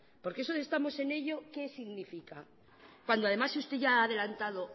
porque de eso estamos en ello qué significa cuando además usted ya ha adelantado